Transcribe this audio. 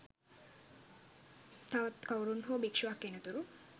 තවත් කවුරුන් හෝ භික්ෂුවක් එනතුරු